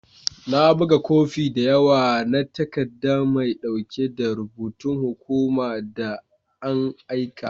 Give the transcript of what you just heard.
Na buga kofi da yawa na takaddan mai dauki da rubutun hukuma da an aika.